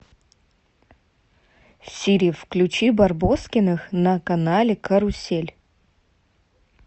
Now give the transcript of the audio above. сири включи барбоскиных на канале карусель